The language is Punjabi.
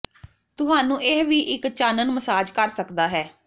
ਤੁਹਾਨੂੰ ਇਹ ਵੀ ਇੱਕ ਚਾਨਣ ਮਸਾਜ ਕਰ ਸਕਦਾ ਹੈ